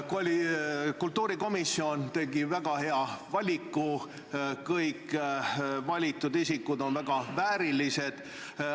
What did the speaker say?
Kultuurikomisjon tegi väga hea valiku, kõik valitud isikud on väga väärilised.